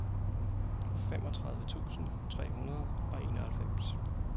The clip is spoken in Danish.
femogtredive tusind tre hundrede og enoghalvfems